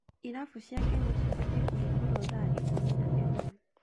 Irabu cia Kenya cibatiĩ kũhingũrwo thaa ikũmi na ĩmwe.